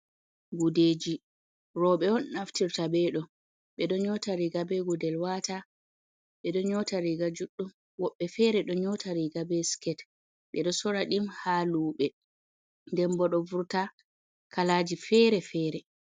Gudeji. Roɓe on naftirta beɗo, ɓe ɗo nyota riga be gudel waata , ɓe ɗo nyotariga juddum, woɗɓe fere ɗo nyota riga be siket. Ɓe ɗo sora ɗum ha luɓe, nden boɗo vurta kalaji fere-fere.